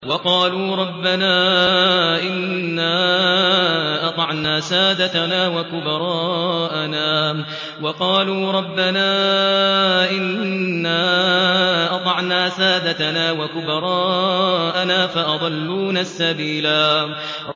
وَقَالُوا رَبَّنَا إِنَّا أَطَعْنَا سَادَتَنَا وَكُبَرَاءَنَا فَأَضَلُّونَا السَّبِيلَا